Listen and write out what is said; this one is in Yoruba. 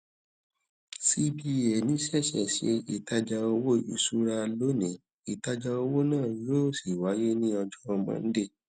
cbn ṣẹṣẹ ṣe ìtajà owó ìṣúra lónìí ìtajà owó náà yóò sì wáyé ní ọjọ monday